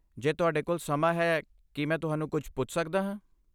ਜੇ ਤੁਹਾਡੇ ਕੋਲ ਸਮਾਂ ਹੈ, ਕੀ ਮੈਂ ਤੁਹਾਨੂੰ ਕੁਝ ਪੁੱਛ ਸਕਦਾ ਹਾਂ?